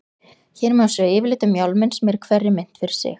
Hér má sjá yfirlit um málminn sem er í hverri mynt fyrir sig.